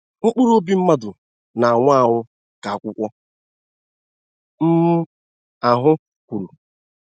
mkpụrụ ọbì mmadụ n'anwụ anwụ, ka akwụkwo um ahụ kwuru